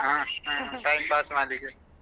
ಹಾ ಹಾ time pass ಮಾಡ್ಲಿಕ್ಕೆ.